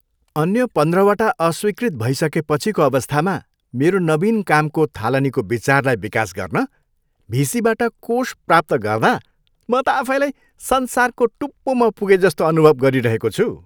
अन्य पन्ध्रवटा अस्वीकृत भइसकेपछिको अवस्थामा मेरो नवीन कामको थालनीको विचारलाई विकास गर्न भिसीबाट कोष प्राप्त गर्दा म त आफैलाई संसारको टुप्पोमा पुगेजस्तो अनुभव गरिरहेको छु।